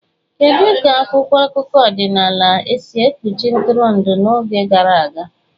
Kedu ka akwụkwọ akụkọ ọdịnala si ekpuchi ntụrụndụ n'oge gara aga?